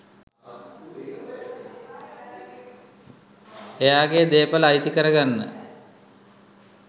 එයාගෙ දේපල අයිති කරගන්න.